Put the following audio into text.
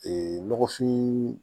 nɔgɔfin